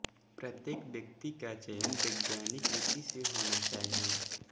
प्रत्येक व्यक्ति का चयन वैज्ञानिक रीति से होना चाहिए